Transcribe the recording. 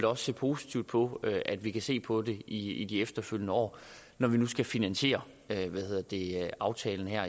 også se positivt på at vi kan se på det i i de efterfølgende år når vi nu skal finansiere aftalen her